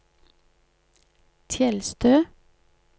Tjeldstø